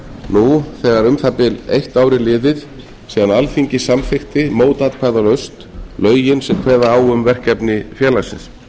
nú þegar um það bil eitt ár er hlið síðan alþingi samþykkti mótatkvæðalaust lögin sem kveða á um verkefni félagsins við skulum